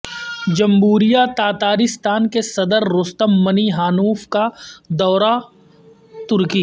جمہوریہ تاتارستان کے صدررستم منی ہانوف کا دورہ ترکی